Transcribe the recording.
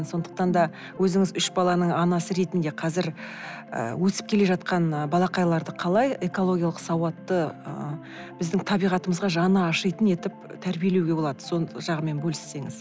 сондықтан да өзіңіз үш баланың анасы ретінде қазір ы өсіп келе жатқан балақайларды қалай экологиялық сауатты ы біздің табиғатымызға жаны ашитын етіп тәрбиелеуге болады сол жағымен бөліссеңіз